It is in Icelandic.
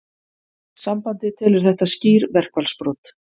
Sambandið telur þetta skýr verkfallsbrot